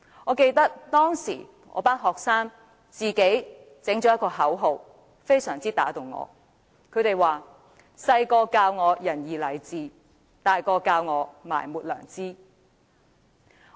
我記得，當時我的學生創作了一句口號，深深打動了我，那句口號是"細個教我仁義禮智，大個教我埋沒良知"。